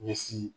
Ɲɛsin